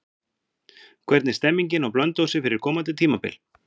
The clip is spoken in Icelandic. Hvernig er stemmingin á Blönduósi fyrir komandi tímabil?